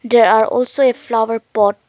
there are also a flower pot.